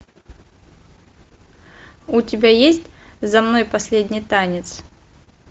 у тебя есть за мной последний танец